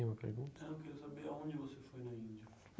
Tinha uma pergunta? Não quero saber a onde você foi na Índia.